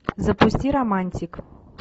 запусти романтик